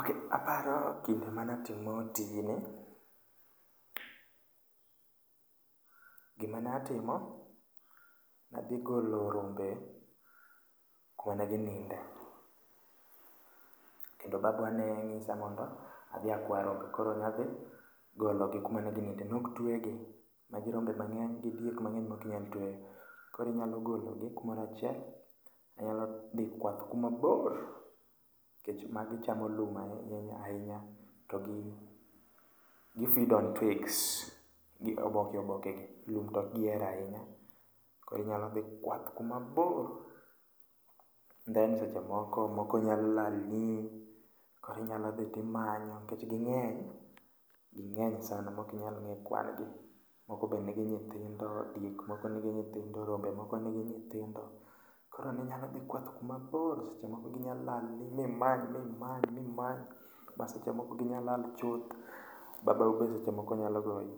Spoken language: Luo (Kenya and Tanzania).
Ok aparo kinde manatimo tijni, gimane atimo, nadhi golo rombe kuma ne gininde. Kendo babwa ne ng'isa mondo adhi akwa rombe, koro nadhi gologi kuma ne gininde. Nok twegi, magi rombe mang'eny gi diek mang'eny mokinyal tweyo. Korinyalo gologi kumorachiel, inyalo dhi kwath kumabor. Nikech magi chamo lum ahinya ahinya to gi, gi feed on twigs, gi oboke oboke gi. Lum tok gihero ahinya, korinyalo dhi kwath kuma bor. Then seche moko, moko nyalo lalni, korinyalo dhi timanyo nikech ging'eny. Ging'eny sana mokinyal ng'e kwan gi, moko be nigi nyithindo. Diek moko nigi nyithindo, rombe moko nigi nyithindo. Koro ninyalo dhi kwath kuma bor, seche moko ginya lalni, mimany mimany mimany. Ba seche moko ginyalal chuth, babau be seche moko nyalo goi.